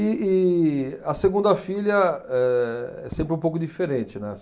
E e a segunda filha é sempre um pouco diferente, né.